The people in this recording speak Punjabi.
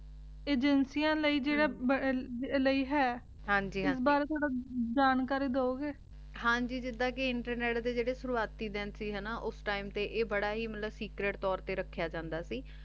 ਅਗੇਨਿਕੈਨ ਲੈ ਜੇਰਾ ਲੈ ਹੈ ਹਾਂਜੀ ਹਾਂਜੀ ਏਸ ਬਾਰੇ ਥੋਰਾ ਜਾਣਕਾਰੀ ਦੂ ਗੇ ਹਾਂਜੀ ਜਿਦਾਂ ਕੇ ਇੰਟਰਨੇਟ ਦੇ ਜੇਰੇ internet ਦਿਨ ਦੀ ਹਾਨਾ ਊ ਟੀਮੇ ਤੇ ਆਯ ਬਾਰਾ ਹੀ ਮਤਲਬ ਸੇਕ੍ਰੇਟ ਤੋਰ ਤੇ ਰਖ੍ਯਾ ਜਾਂਦਾ ਸੀ